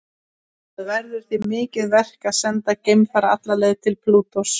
Það verður því mikið verk að senda geimfara alla leið til Plútós.